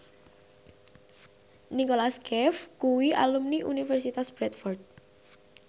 Nicholas Cafe kuwi alumni Universitas Bradford